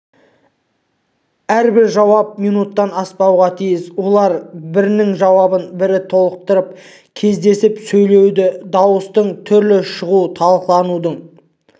әрбір жауап минуттан аспауға тиіс олар бірінің жауабын бірі толықтырып кезектесіп сөйлейді дауыстың түрлі шығуы талқыланудың